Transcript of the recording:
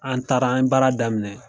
An taara an ye baara daminɛ